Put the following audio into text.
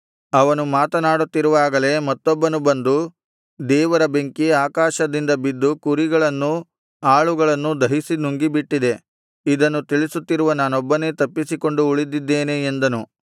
ಅವನು ಮಾತನಾಡುತ್ತಿರುವಾಗಲೇ ಮತ್ತೊಬ್ಬನು ಬಂದು ದೇವರ ಬೆಂಕಿ ಆಕಾಶದಿಂದ ಬಿದ್ದು ಕುರಿಗಳನ್ನೂ ಆಳುಗಳನ್ನೂ ದಹಿಸಿ ನುಂಗಿಬಿಟ್ಟಿದೆ ಇದನ್ನು ತಿಳಿಸುತ್ತಿರುವ ನಾನೊಬ್ಬನೇ ತಪ್ಪಿಸಿಕೊಂಡು ಉಳಿದಿದ್ದೇನೆ ಎಂದನು